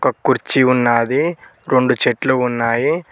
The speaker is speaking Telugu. కుర్చీ ఉన్నాది రొండు చెట్లు ఉన్నాయి.